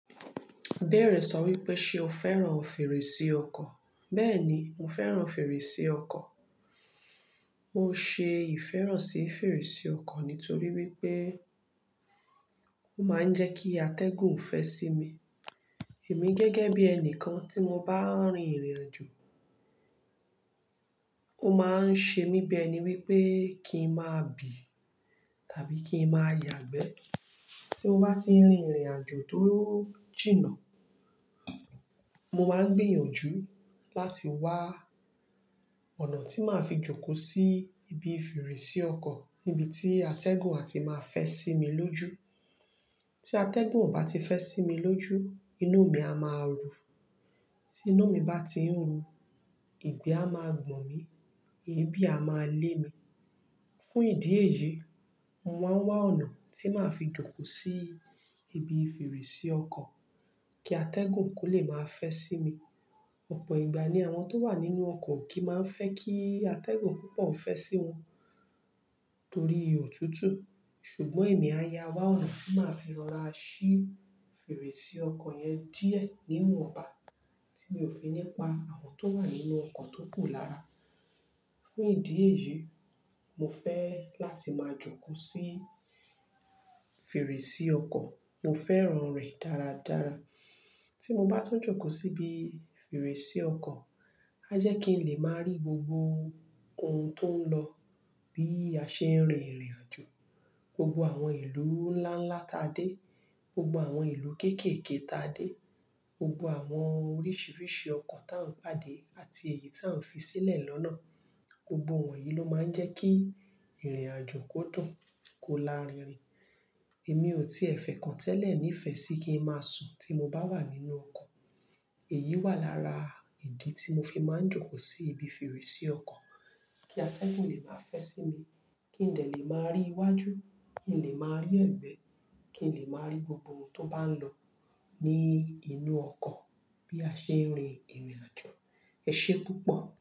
Ibẹ́ẹ̀rẹ, sọ wípé ṣe o fẹ́ràn fèrèsé ọkọ̀? Bẹ́ẹ̀ni, mo fẹ́ràn fèrèsé ọkọ̀. Mo ṣe ìfẹ́ràn sí fèrèsé ọkọ̀ nítorí wípé ó máa ń jẹ́ kí atẹ́gùn fẹ́ sí mi. Èmi gẹ́gẹ́ bí ẹni kan tí mo bá ń rin ìrìn àjò, ó máa ń ṣe mi bi ẹni wípé kí n má bí tàbí kí n má yàgbẹ́ tí mo bá tí ń rin ìrìn àjò tó jìnà. Mo máa ń gbìyànjú láti wá ọ̀nà tí màá fi jókòó sí ibi fèrèsé ọkọ̀ níbi tí atẹ́gùn á ti máa fẹ́ sí mi lójú. Tí atẹ́gùn ò bá ti fẹ́ sí mi lójú, inú mi a máa ru. Tí inú mi bá ti ń ru, ìgbẹ́ a máa gbọ̀n mí, èébì a máa lé mi. Fún ìdí èyí, mo máa ń wá ọ̀nà tí màá fi jókòó sí ibi fèrèsé ọkọ̀ kí atẹ́gùn kó lè máa fẹ́ sí mi. Ọ̀pọ̀ ìgbà ni àwọn tó wà nínú ọkọ̀ kìmá ń fẹ́ kí atẹ́gùn púpọ̀ fẹ́ sí wọn torí òtútù. Ṣùgbọ́n èmi á ya wá ọ̀nà tí màá fi rọra ṣí fèrèsé ọkọ̀ yẹn díẹ̀ níwọ̀nba tí mi ò fi nípa àwọn tó wà nínú ọkọ̀ tó kù lára. Fún ìdí èyí, mo fẹ́ láti máa jókòó sí fèrèsé ọkọ̀. Mo fẹ́ràn rẹ̀ dára dára. Tí mo bá tún jókòó síbi fèrèsé ọkọ̀, a jẹ́ kí n lè máa rí gbogbo ohun tó ń lọ bí a ṣe ń rin ìrìn àjò. Gbogbo àwọn ìlú nlánlá táa dé, gbogbo àwọn ìlú kékèké táa dé, gbogbo àwọn oríṣiríṣi ọkọ̀ tá ń pàdé àti èyí tá ń fi sílẹ̀ lọ́nà. Gbogbo wọn yìí ló máa ń jẹ́ kí ìrìn àjò kó dùn, kó laririn. Èmi ò tíẹ̀ fẹ̀ kan tẹ́lẹ̀ nífẹ̀ẹ́ sí kí n má sun tí mo bá wà nínú ọkọ̀. Èyí wà lára ìdí tí mo fi máa ń jókòó sí ibi fèrèsé ọkọ̀ kí atẹ́gùn lè má fẹ́ sí mi, kí n lè máa rí iwájú, kí n lè máa rí ẹ̀gbẹ́, kí n lè máa rí gbogbo ohun tó bá ń lọ ní inú ọkọ̀ bí a ṣe ń rin ìrìn àjò. Ẹ ṣé púpọ̀.